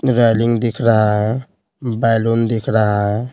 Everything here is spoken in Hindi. रेलिंग दिख रहा है बैलून दिख रहा है।